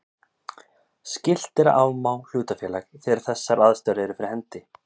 Skylt er að afmá hlutafélag þegar þessar ástæður eru fyrir hendi.